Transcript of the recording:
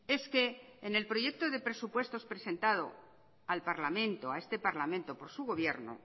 es que en el proyecto de presupuestos presentado al parlamento a este parlamento por su gobierno